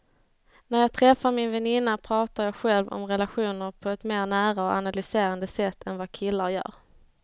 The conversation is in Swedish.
När jag träffar min väninna pratar jag själv om relationer på ett mer nära och analyserande sätt än vad killar gör.